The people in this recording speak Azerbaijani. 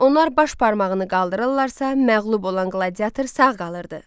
Onlar baş barmağını qaldırırdılarsa, məğlub olan qladiator sağ qalırdı.